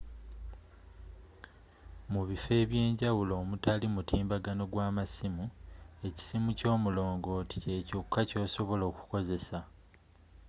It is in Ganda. mu bifo ebyeewala omutali mutimbagano gwa masimu ekisimu kyomulongooti kye kyokka kyosobola okukozesa